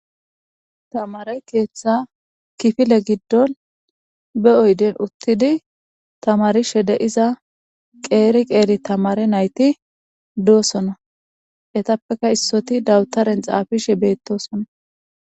Tamare keetha kifile gidoni be oydeni utidi tamarishe de'iza qeeri qeeri tamare nayti dosona, etappeka issoti dawutaren xaafishe betosona.